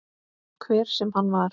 Hver sem hann var.